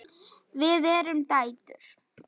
Við erum dætur!